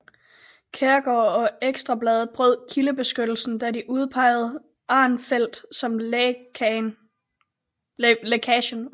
Kjærgaard og Ekstra Bladet brød kildebeskyttelsen da de udpejede Arnfeldt som lækagen